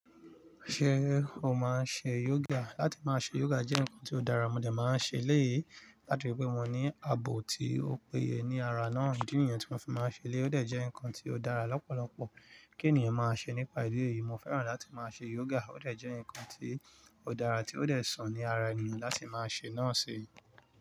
Se o maa n se yoga? Lati maa se yoga je nkan to dara, mo de maa n se eleyi látirí pé mo ní àbò tí ó péye ní ara náà. Ìdí nìyen tí mo fi máa n se eleyi, o de je nkan to dara lópòlopò. Mo fẹ́ràn láti máa ṣe yoga, ó dè jẹ́ nǹkan tí ó dára tí ó dè sàn ní ara ẹniyàn láti máa ṣe náà ṣi.